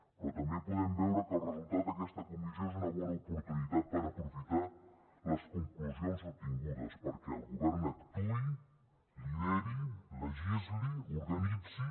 però també podem veure que el resultat d’aquesta comissió és una bona oportunitat per aprofitar les conclusions obtingudes perquè el govern actuï lideri legisli organitzi